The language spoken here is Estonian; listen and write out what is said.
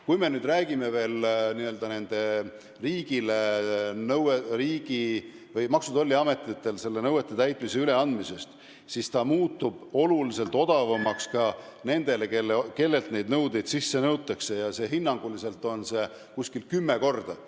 Kui me räägime veel Maksu- ja Tolliametile nõuete täitmise üleandmisest, siis võib öelda, et protsess muutub oluliselt odavamaks ka nendele, kellelt neid nõudeid sisse nõutakse, hinnanguliselt kümme korda.